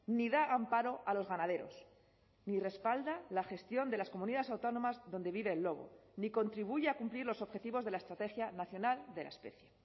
ni da amparo a los ganaderos ni respalda la gestión de las comunidades autónomas donde vive el lobo ni contribuye a cumplir los objetivos de la estrategia nacional de la especie